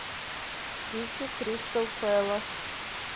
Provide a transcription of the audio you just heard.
сити кристал пэлас